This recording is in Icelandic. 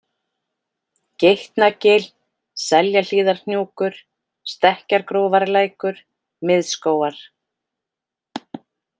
Geitnagil, Seljahlíðarhnjúkur, Stekkjargrófarlækur, Miðskógar